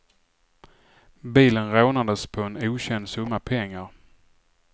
Bilen rånades på en okänd summa pengar.